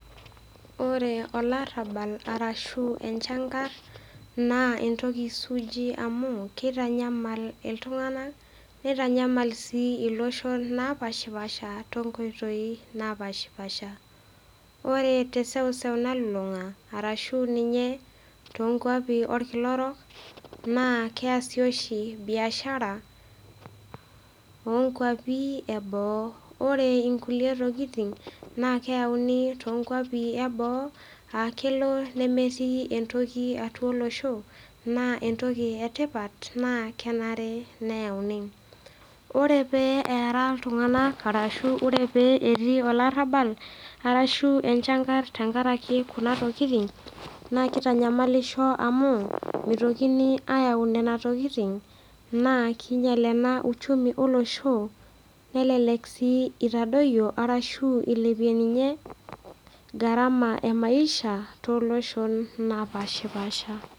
Ore olarabal arashu enchankar na entoki suuji amu keitanyamal iltung'ana neitanyamal sii iloshon naapaashipaasha tonkoitoi naapaashipasha. Ore teseuseu nalulung'a arashu ninye toonkwapi olkila orok, naa keasi oshi biashara onkwapi e boo. Ore inkulie tokitin naa keyauni toonkwapi e boo aa kelo nemetii entoki atua olosho naa entoki e tipat naa kenare neyauni. Ore pee eara iltung'ana arashu ore pee etii olarabal, arashu enchankar tenkarake kuna tokitin naa keitanyamalisho amu meitokini ayau nena tokitin naa keinyal ena uchumi olosho nelelek sii eitadoyio ashu eilepie ninye gharama e maisha.